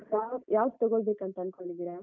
ಯಾವ್~ ಯಾವ್ದ್ ತೊಗೊಬೇಕಂತನ್ಕೊಂಡಿದಿರ?